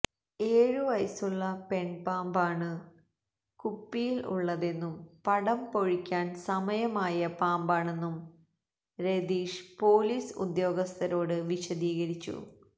ഏഴു വയസുള്ള പെൺ പാമ്പാണ് കുപ്പിയിൽ ഉള്ളതെന്നും പടം പൊഴിക്കാൻ സമയം ആയ പാമ്പാണെന്നും രതീഷ് പൊലീസ് ഉദ്യോഗസ്ഥരോട് വിശദീകരിച്ചു